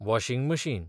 washing machine